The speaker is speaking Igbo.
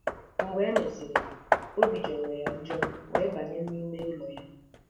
Mgbe e mesịrị, obi jọrọ ya njọ wee banye n'ime ụlọ ha.